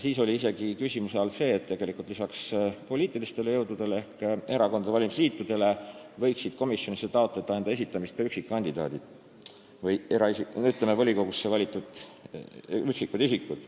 Siis oli isegi küsimuse all see, et lisaks poliitilistele jõududele ehk erakondadele ja valimisliitudele võiksid enda komisjonidesse nimetamist taotleda ka üksikkandidaadid või volikogusse valitud üksikisikud.